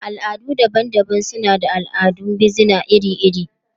Al'adu daban-daban suna da al'adun bizina iri-iri.